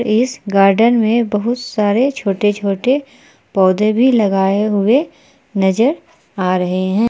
इस गार्डन में बहुत सारे छोटे छोटे पौधे भी लगाए हुए नजर आ रहे है।